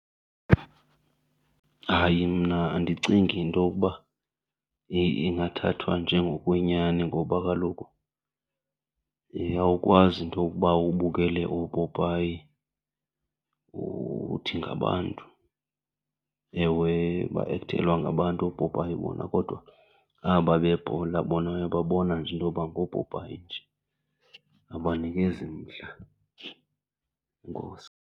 Hayi, mna andicingi into yokuba ingathathwa njengokwenyani ngoba kaloku awukwazi intokuba ubukele opopayi uthi ngabantu. Ewe, baekthelwa ngabantu oopopayi bona kodwa aba bebhola bona uyababona nje into yoba ngoopopayi nje, abanikezi mdla. Enkosi.